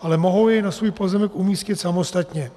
ale mohou ji na svůj pozemek umístit samostatně.